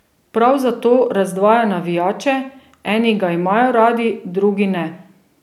Prav zato razdvaja navijače, eni ga imajo radi, drugi ne.